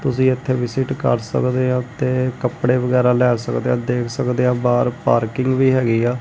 ਤੁਸੀਂ ਇੱਥੇ ਵਿਜਿਟ ਕਰ ਸਕਦੇ ਆ ਤੇ ਕੱਪੜੇ ਵਗੈਰਾ ਲੈ ਸਕਦੇ ਆ ਦੇਖ ਸਕਦੇ ਆ ਬਾਹਰ ਪਾਰਕਿੰਗ ਵੀ ਹੈਗੀ ਆ।